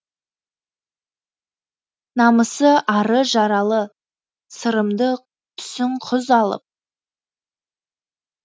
намысы ары жаралы сырымды түсін құз алып